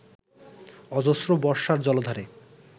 অজস্র বর্ষার জলধারে